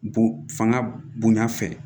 Bon fanga bonya fɛ